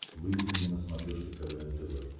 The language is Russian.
выведи мне на смотрешке квн тв